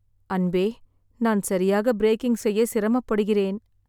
அன்பே, நான் சரியாக பிரேக்கிங் செய்ய சிரமப்படுகிறேன்.